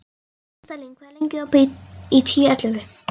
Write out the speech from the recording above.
Listalín, hvað er lengi opið í Tíu ellefu?